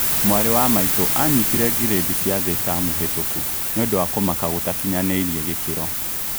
Mwarĩ wa maitũ anyitire gredi cia thĩ tamu hetũku nĩũndu wa kũmaka gũtakinyanĩirie gĩkĩro